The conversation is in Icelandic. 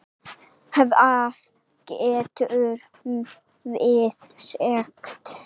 Hvað gátum við sagt?